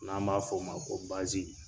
N'a b'a fɔ o ma ko .